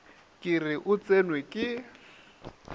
ke re o tsenwe ke